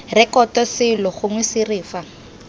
rekoto selo gongwe sere fa